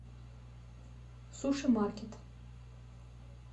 суши маркет